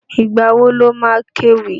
Ìgbà wo lo má kéwì?